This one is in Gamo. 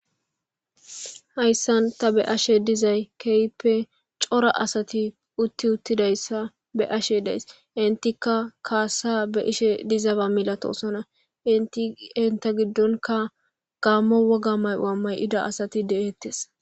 Haysan ta be'ashe dizaysa kehipe cora asati uti uti utdidaysa be'ashe dizaysa entikka kassa be'ishe diza ba milatosona enta gidonkka gamo woga mayuws Mayida asati detese